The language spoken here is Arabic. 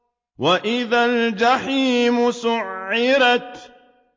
وَإِذَا الْجَحِيمُ سُعِّرَتْ